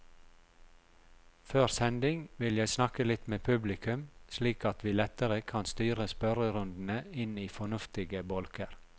Før sending vil jeg snakke litt med publikum, slik at vi lettere kan styre spørrerundene inn i fornuftige bolker.